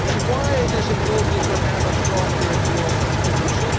Why is it important to have a strong European solution?